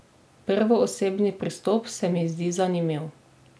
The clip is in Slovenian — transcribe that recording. Prvoosebni pristop se mi zdi zanimiv.